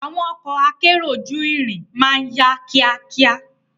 Awon oko akero juirin maa n ya kia kia